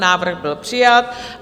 Návrh byl přijat.